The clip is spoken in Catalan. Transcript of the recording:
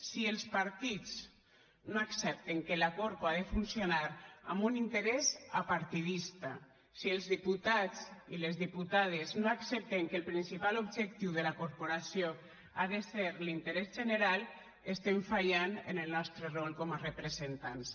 si els partits no accepten que la corpo ha de funcionar amb un interès apartidista si els diputats i les diputades no accepten que el principal objectiu de la corporació ha de ser l’interès general estem fallant en el nostre rol com a representants